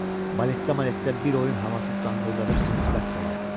Baletdə, maletdə bir oyun havası danqıldadırsınız, vəssalam.